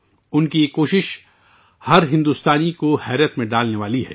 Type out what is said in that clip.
اس کی یہ کوشش ہر بھارتی کو مغلوب کرنے والی ہے